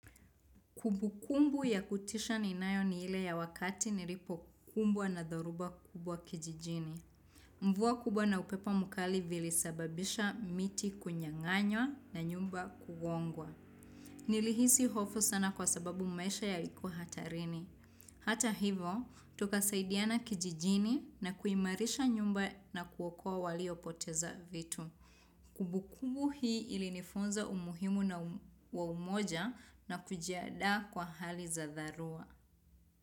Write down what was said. Kumbu kumbu ya kutisha ninayo ni hile ya wakati nilipo kumbwa na dhoruba kubwa kijijini. Mvua kubwa na upepo mukali vilisababisha miti kunyang'anywa na nyumba kugongwa. Nilihisi hofu sana kwa sababu maisha yalikuwa hatarini. Hata hivo, tukasaidiana kijijini na kuimarisha nyumba na kuokoa walio poteza vitu. Kumbu kumbu hii ilinifunza umuhimu na umoja na kujiada kwa hali za dharua.